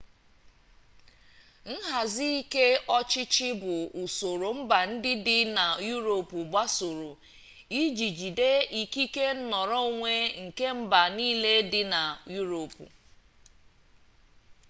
nhazi ike ọchịchị bụ usoro mba ndị dị na yuropu gbasoro iji jigide ikike nnọrọonwe nke mba niile dị na yuropu